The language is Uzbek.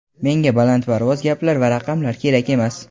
Menga balandparvoz gaplar va raqamlar kerak emas.